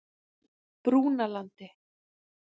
Brúnalandi